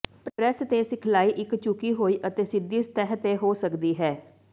press ਤੇ ਸਿਖਲਾਈ ਇੱਕ ਝੁਕੀ ਹੋਈ ਅਤੇ ਸਿੱਧੀ ਸਤਹ ਤੇ ਹੋ ਸਕਦੀ ਹੈ